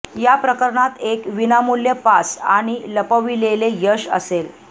या प्रकरणात एक विनामूल्य पास आणि लपविलेले यश असेल